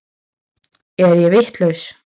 Er ég vitlaus!